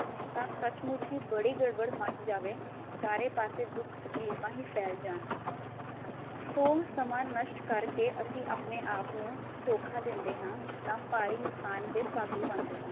ਤਾਂ ਸਚ ਮੁਚ ਹੀ ਬੜੀ ਗੜਬੜ ਮਚ ਜਾਵੇ, ਚਾਰੇ ਪਾਸੇ ਦੁਖ ਤਕਲੀਫਾ ਹੀ ਫੈਲ ਜਾਣ। ਸੋ ਸਮਾਂ ਨਸ਼ਟ ਕਰ ਕੇ ਅਸੀਂ ਆਪਣੇ ਆਪ ਨੂੰ ਧੋਖਾ ਦਿੰਦੇ ਹਾਂ ਤਾਂ ਭਾਰੀ ਨੁਕਸਾਨ ਦੇ ਭਾਗੀ ਬਣਦੇ ਹਾਂ।